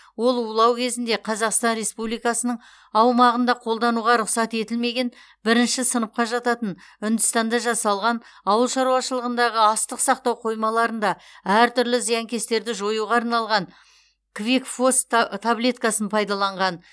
ол улау кезінде қазақстан республикасының аумағында қолдануға рұқсат етілмеген бірінші сыныпқа жататын үндістанда жасалған ауылшаруашылығында астық сақтау қоймаларында әртүрлі зиянкестерді жоюға арналған квикфос та таблеткасын пайдаланған